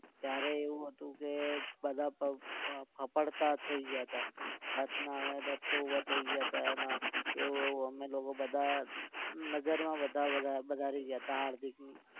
ત્યારે એવું હતું કે બધા ફફડતા થઇગયા હતા રાતના અમે દત્તુ થઇ ગયા હતા એવું એવું અમે લોકો બધા નજરમાં બધા બધા રહી ગયા હતા હાર્દિક